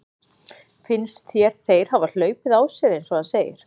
Finnst þér þeir hafa hlaupið á sér eins og hann segir?